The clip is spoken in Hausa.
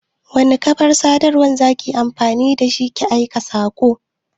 Wani kafar sadarwan za ki yi amfani da shi ki aika saƙon?